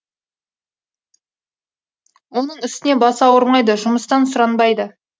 оның үстіне басы ауырмайды жұмыстан сұранбайды